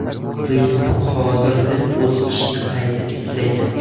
Facebook hozirda o‘z ishini qayta tiklagan.